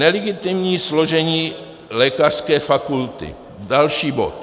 Nelegitimní složení lékařské fakulty - další bod.